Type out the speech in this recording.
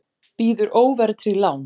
Býður óverðtryggð lán